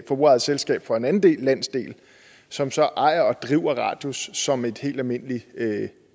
forbrugerejet selskab for en anden landsdel som så ejer og driver radius som en helt almindelig